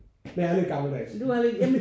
Men jeg er lidt gammeldags